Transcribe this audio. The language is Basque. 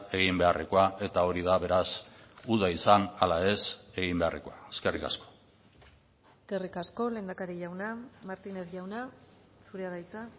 egin beharrekoa eta hori da beraz uda izan ala ez egin beharrekoa eskerrik asko eskerrik asko lehendakari jauna martínez jauna zurea da hitza